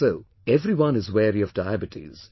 And so everyone is wary of Diabetes